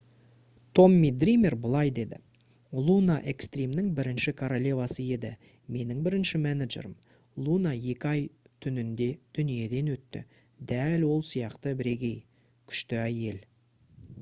томми дример былай деді: «луна экстримнің бірінші королевасы еді. менің бірінші менеджерім. луна екі ай түнінде дүниеден өтті. дәл ол сияқты бірегей. күшті әйел»